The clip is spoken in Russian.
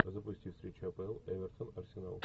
запусти встречу апл эвертон арсенал